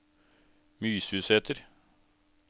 Mysusæter